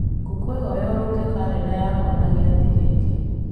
ngũkwĩhoya ũrũnge karenda yakwa na gĩathĩ gĩkĩ